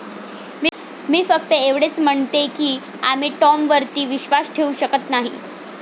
मी फक्त एवढंच म्हणतेय की आम्ही टॉमवरती विश्वास ठेवू शकत नाही.